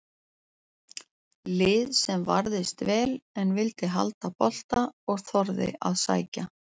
Lið sem varðist vel en vildi halda bolta og þorði að sækja.